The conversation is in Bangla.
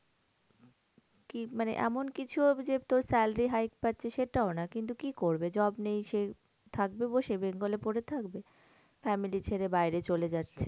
কি মানে এমন কিছুও যে তোর salary high পাচ্ছে সেটাও না। কিন্তু কি করবে? job নেই। সে থাকবে বসে bengal এ পরে থাকবে? family ছেড়ে বাইরে চলে যাচ্ছে।